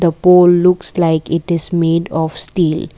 The pole looks like it is made of steel.